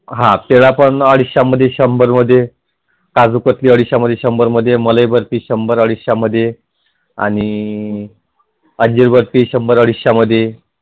हां त्याला पण अडीचशे मध्ये शंभर मध्ये काजुकतली अडीचशे शंभर मध्ये मलई बर्फी शंभर अडीचशे मध्ये अंजीर बर्फी शंभर अडीचशे मध्ये